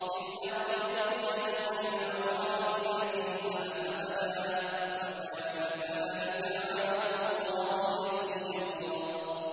إِلَّا طَرِيقَ جَهَنَّمَ خَالِدِينَ فِيهَا أَبَدًا ۚ وَكَانَ ذَٰلِكَ عَلَى اللَّهِ يَسِيرًا